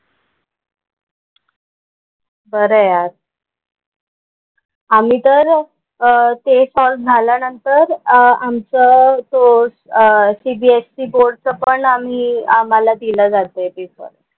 खरं आहे यार. आम्ही तर अह ते सॉल्व्ह झाल्यानंतर आमचं तो CBSE बोर्डचं पण आम्ही आम्हाला दिला जातोय पेपर.